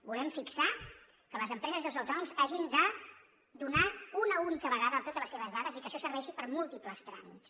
volem fixar que les empreses i els autònoms hagin de donar una única vegada totes les seves dades i que això serveixi per a múltiples tràmits